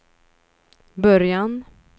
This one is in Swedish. början